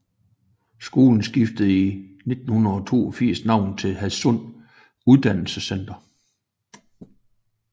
Skolen skiftede i 1982 navn til Hadsund Uddannelsescenter